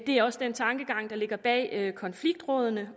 er også den tankegang der ligger bag konfliktrådene